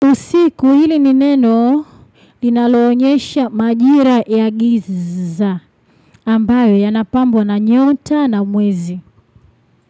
Usiku hili ni neno linaloonyesha majira ya giza ambayo yanapambo na nyota na mwezi.